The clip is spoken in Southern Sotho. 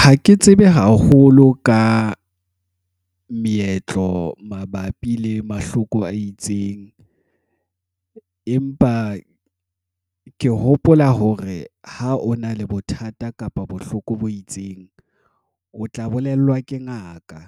Ha ke tsebe haholo ka meetlo mabapi le mahloko a itseng, empa ke hopola hore ha o na le bothata kapa bohloko bo itseng, o tla bolellwa ke ngaka.